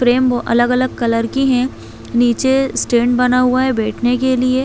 frame अलग - अलग colour की है नीचे स्टैंड बना हुआ है बैठने के लिए --